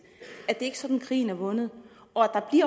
at det ikke er sådan at krigen er vundet